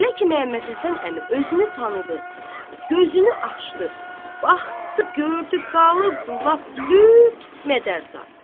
Elə ki Məhəmməd Həsən əmi özünü tanıdı, gözünü açdı, baxdı, gördü qalıb lap lüt mədərza.